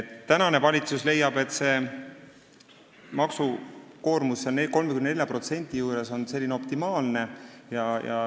Tänane valitsus leiab, et 34%-line maksukoormus on optimaalne.